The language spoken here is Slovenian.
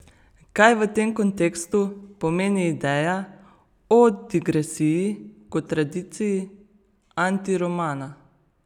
Kaj v tem kontekstu pomeni ideja o digresiji kot tradiciji antiromana?